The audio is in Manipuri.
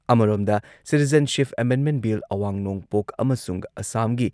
ꯑꯃꯔꯣꯝꯗ, ꯁꯤꯇꯤꯖꯦꯟꯁꯤꯞ ꯑꯦꯃꯦꯟꯗꯃꯦꯟꯠ ꯕꯤꯜ ꯑꯋꯥꯡ ꯅꯣꯡꯄꯣꯛ ꯑꯃꯁꯨꯡ ꯑꯁꯥꯝꯒꯤ